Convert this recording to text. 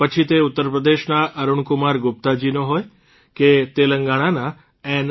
પછી તે ઉત્તરપ્રદેશના અરૂણકુમાર ગુપ્તાજીનો હોય કે તેલંગણાના એન